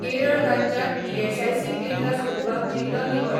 केरळ राज्यांत ईएसआयसी केंद्रां सोदपाक जिल्लो निवड.